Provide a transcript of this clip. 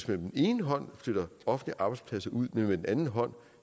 med den ene hånd flytter offentlige arbejdspladser ud men med den anden hånd